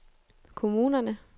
kommunerne